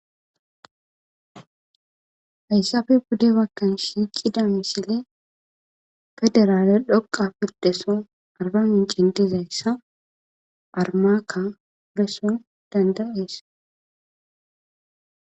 haysafe pudde wakkan shiiqida misile gederale dhoqa pirdeson arban in cintizayssa armaakka beson dandayees